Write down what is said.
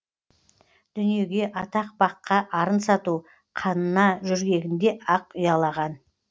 дүниеге атақ баққа арын сату қанына жөргегінде ақ ұялаған